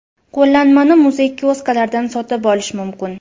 Qo‘llanmani muzey kioskalaridan sotib olish mumkin.